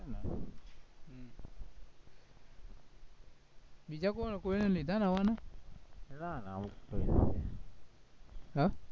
બીજા કોઈને લીધા નવા ને? હે?